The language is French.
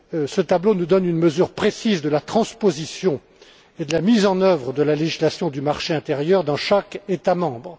Ce tableau nous donne une mesure précise de la transposition et de la mise en œuvre de la législation du marché intérieur dans chaque État membre.